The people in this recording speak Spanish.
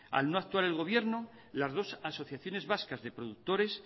al no actuar el gobierno las dos asociaciones vascas de productores